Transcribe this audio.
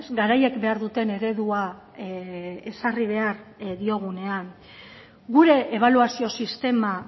garaiek behar duten eredua ezarri behar diogunean gure ebaluazio sistema